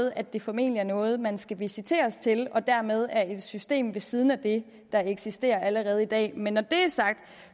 at det formentlig er noget man skal visiteres til og dermed er et system ved siden af det der eksisterer allerede i dag men når det er sagt